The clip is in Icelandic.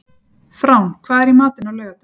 Frán, hvað er í matinn á laugardaginn?